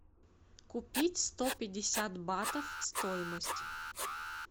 купить сто пятьдесят батов стоимость